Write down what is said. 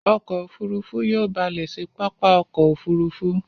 Ọkọ̀ òfurufú yóò balè sí pápá ọkọ̀ òfurufú.